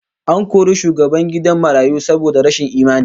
An kori shugaban gidan marayu saboda rashin imani